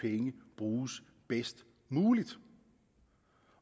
penge bruges bedst muligt